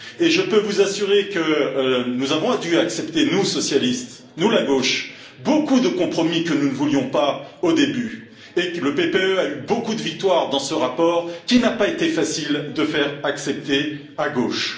Je peux vous assurer que nous avons dû accepter, nous socialistes, nous la gauche, beaucoup de compromis que nous ne voulions pas au début et que le PPE a eu beaucoup de victoires dans ce rapport, qu'il n'a pas été facile de faire accepter à gauche.